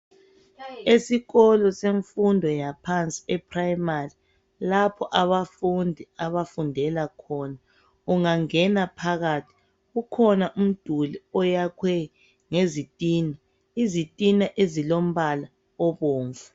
Esikolo samfundo yaphansi eprayimari lapho abafundi abafundela khona. Ungangena phakathi kukhona umduli oyakhwe ngezitina, izitina ezilombala obomvu.